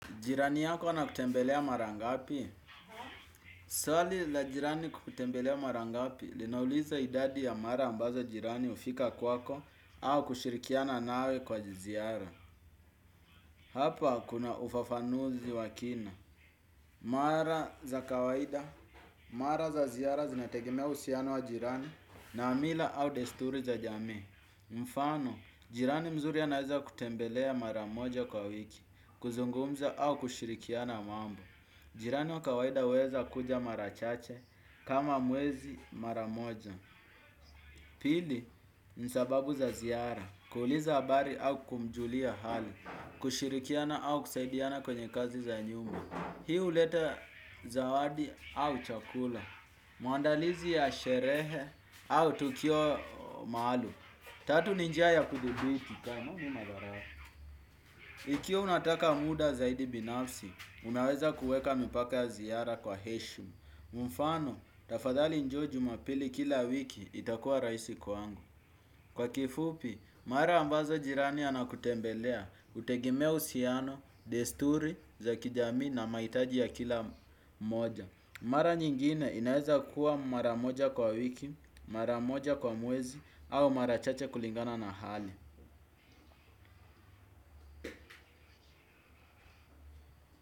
Jirani yako ana kutembelea mara ngapi? Swali la jirani kukutembelea mara ngapi linauliza idadi ya mara ambazo jirani hufika kwako au kushirikiana nawe kwa ziara. Hapa kuna ufafanuzi wakina. Mara za kawaida, mara za ziara zinategemea uhusiano wa jirani na mila au desturi za jamii. Mfano, jirani mzuri anaeza kutembelea mara moja kwa wiki, kuzungumza au kushirikiana mambo. Jirani wa kawaida huweza kuja mara chache kama mwezi mara moja. Pili nisababu za ziara, kuuliza habari au kumjulia hali, kushirikiana au kusaidiana kwenye kazi za nyumba. Hii huleta zawadi au chakula, maandalizi ya sherehe au tukio maalum. Tatu ni njia ya kuthibiti. Ona hii madharau. Ikiwa unataka muda zaidi binafsi, unaweza kuweka mipaka ya ziada kwa heshima. Mfano, tafadhali njoo jumapili kila wiki itakuwa rahisi kwangu. Kwa kifupi, mara ambazo jirani anakutembelea hutegemea uhusiano, desturi za kijamii na mahitaji ya kila mmoja. Mara nyingine inaweza kuwa mara moja kwa wiki, mara moja kwa mwezi, au mara chache kulingana na hali.